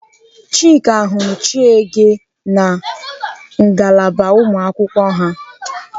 Chika hụrụ Chiege na ngalaba ụmụakwụkwọ ha.